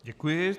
Děkuji.